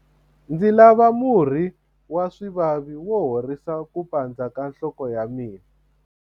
ndzi lava murhi wa swivavi wo horisa ku pandza ka nhloko ya mina